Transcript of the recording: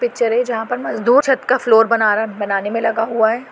Picture है जहां पर मजदूर छत का फ्लोर बना र बनाने मे लगा हुआ है।